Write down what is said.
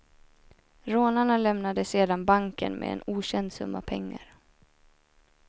Rånarna lämnade sedan banken med en okänd summa pengar.